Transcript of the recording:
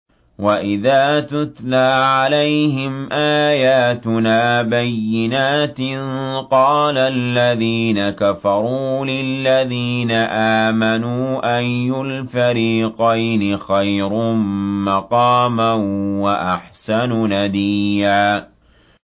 وَإِذَا تُتْلَىٰ عَلَيْهِمْ آيَاتُنَا بَيِّنَاتٍ قَالَ الَّذِينَ كَفَرُوا لِلَّذِينَ آمَنُوا أَيُّ الْفَرِيقَيْنِ خَيْرٌ مَّقَامًا وَأَحْسَنُ نَدِيًّا